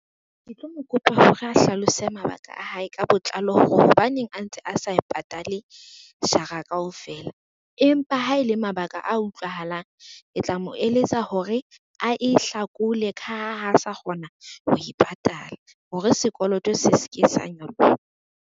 Ke tlo mo kopa hore a hlalose mabaka a hae ka botlalo hore hobaneng a ntse a sa e patale jara kaofela, empa ha ele mabaka a utlwahalang, ke tla mo eletsa hore a e hlakole ka ha ha sa kgona ho e patala hore sekoloto se se ke sa nyoloha.